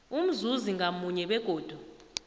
umzuzi ngamunye begodu